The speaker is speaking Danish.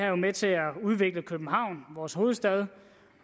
jo med til at udvikle københavn vores hovedstad